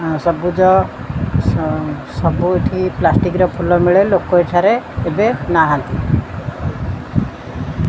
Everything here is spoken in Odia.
ଅଁ ସବୁଜ ସ ସବୁ ଏଠି ପ୍ଲାଷ୍ଟିକ ର ଫୁଲ ମିଳେ ଲୋକ ଏଠାରେ ଏବେ ନାହାଁନ୍ତି।